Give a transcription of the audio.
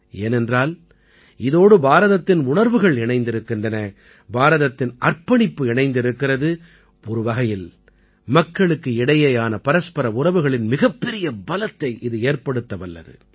ஏனென்றால் இதோடு பாரதத்தின் உணர்வுகள் இணைந்திருக்கின்றன பாரதத்தின் அர்ப்பணிப்பு இணைந்திருக்கிறது ஒரு வகையில் மக்களுக்கு இடையேயான பரஸ்பர உறவுகளின் மிகப்பெரிய பலத்தை இது ஏற்படுத்த வல்லது